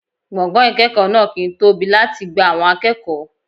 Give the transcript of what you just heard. Gbọ̀ngàn ìkẹ́kọ̀ọ́ náà kì ń tóbi láti gba àwọn akẹ́kọ̀ọ́.